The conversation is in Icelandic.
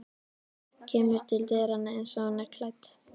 Kemur til dyranna einsog hún er klædd.